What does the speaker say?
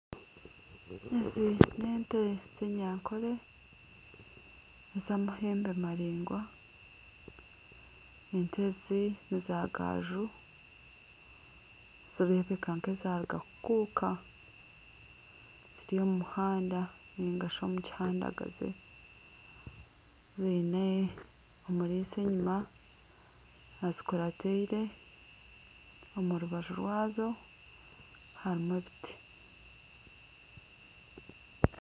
Ezi n'ente z'enyankore zamahembe maraingwa ente ezi nizagaju nizirebeka nk'ezaruga kukuka ziri omumuhanda ningashi omukihandagazi ziine omurisa enyuma azikurateire omurubaju rwazo harumu ebiti.